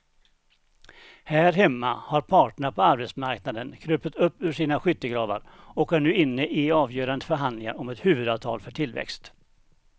Här hemma har parterna på arbetsmarknaden krupit upp ur skyttegravarna och är nu inne i avgörande förhandlingar om ett huvudavtal för tillväxt.